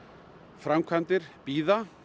framkvæmdir bíða